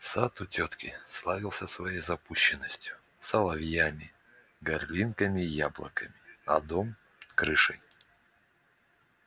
сад у тётки славился своею запущенностью соловьями горлинками и яблоками а дом крышей